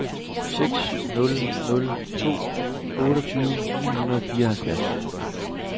seks nul nul to otteogtyve ni hundrede og nioghalvfjerds